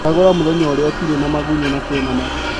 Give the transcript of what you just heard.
Cagūra mūthenya ũrĩa tĩri ni mũgunyu na kwĩna matu.